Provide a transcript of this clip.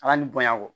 A ka nin bonya kɔ